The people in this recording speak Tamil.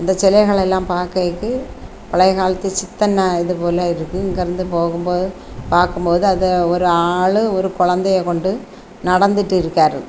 இந்த சிலைகள் எல்லாம் பாக்கைக்கு பழைய காலத்து சித்தன்ன இதுபோல இருக்கு இங்க இருந்து போகும்போது பார்க்கும் போது அது ஒரு ஆளு ஒரு குழந்தையை கொண்டு நடந்துட்டு இருக்காரு.